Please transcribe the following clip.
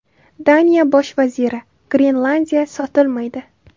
Daniya bosh vaziri: Grenlandiya sotilmaydi.